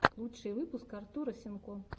лучший выпуск артура сенко